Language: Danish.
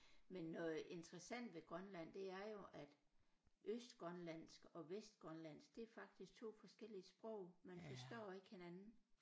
Men noget interessant ved Grønland det er jo at østgrønlandsk og vestgrønlandsk det er faktisk 2 forskellige sprog man forstår ikke hinanden